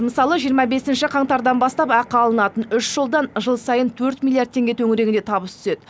мысалы жиырма бесінші қаңтардан бастап ақы алынатын үш жолдан жыл сайын төрт миллиард теңге төңірегінде табыс түседі